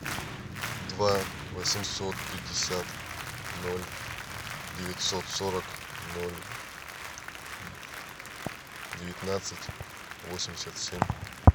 два восемьсот пятьдесят ноль девятьсот сорок ноль девятнадцать восемьдесят семь